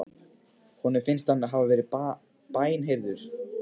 Honum finnst hann hafa verið bænheyrður.